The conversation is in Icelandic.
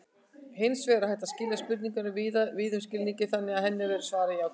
Hins vegar er hægt að skilja spurninguna víðum skilningi þannig að henni verði svarað játandi.